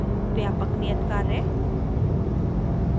व्यापक नियतकार्य